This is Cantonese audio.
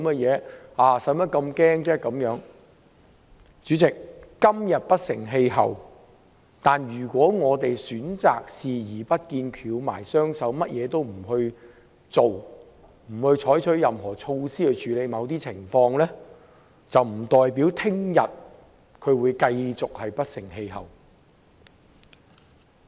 主席，"港獨"今天雖不成氣候，但如果我們選擇視而不見，翹起雙手，甚麼也不做，不採取任何措施去處理某些情況，難保"港獨"會繼續不成氣候。